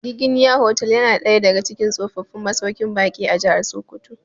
Giginya hotel ya na daya daga cikin tsofaffin masauƙin baƙi a Jahar Sokoto